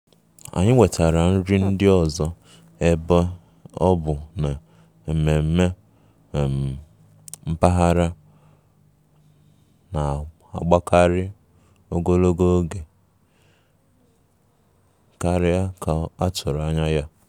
Anyị wetara nri ndị ọzọ ebe ọ bụ na mmemme um mpaghara na-agbakarị ogologo oge karịa ka a tụrụ anya ya